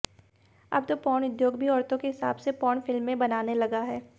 अब तो पोर्न उद्योग भी औरतों के हिसाब से पोर्न फिल्में बनाने लगा है